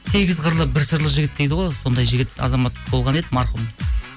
сегіз қырлы бір сырлы жігіт дейді ғой сондай жігіт азамат болған еді марқұм